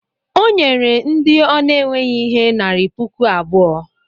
o nyere ndị ọ na-enweghị ihe narị puku abụọ